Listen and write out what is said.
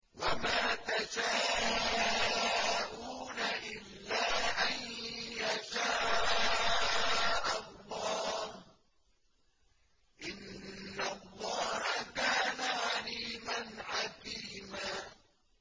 وَمَا تَشَاءُونَ إِلَّا أَن يَشَاءَ اللَّهُ ۚ إِنَّ اللَّهَ كَانَ عَلِيمًا حَكِيمًا